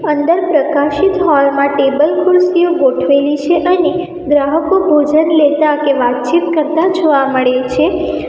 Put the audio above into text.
અંદર પ્રકાષિત હોલ માં ટેબલ ખુરશીઓ ગોઠવેલી છે અને ગ્રાહકો ભોજન લેતા કે વાતચીત કરતા જોવા મળે છે.